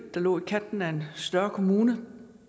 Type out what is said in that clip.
der lå i kanten af en større kommune i